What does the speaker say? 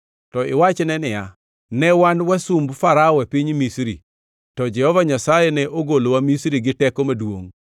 To iwachne niya, “Ne wan wasumb Farao e piny Misri, to Jehova Nyasaye ne ogolowa Misri gi teko maduongʼ.